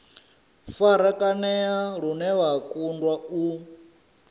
farakanea lune vha kundwa u